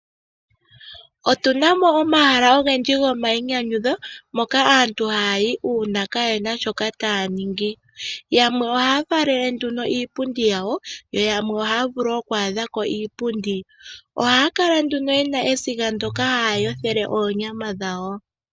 Otuna mo omahala ogendji gomayinyanyudho moka aantu hayayi uuna kayena sho taya ningi. Yamwe ohaya falele nduno iipundi yawo yo yamwe ohaya vulu oku adhako iipundi. Ohaya kala nduno yena esiga ndyono haya yothele oonyama dhawo.